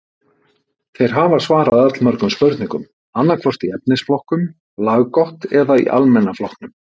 Þeir hafa svarað allmörgum spurningum, annaðhvort í efnisflokknum laggott eða í almenna flokknum.